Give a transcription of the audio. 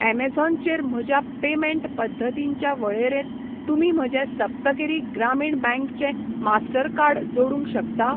Amazon चेर म्हज्या payment पद्दतींच्या वळेरेंत तुमी म्हजें सप्तगिरी ग्रामीण बँक चें मास्टरकार्ड जोडूंक शकता?